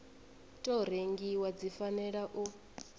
tou rengiwa dzi fanela u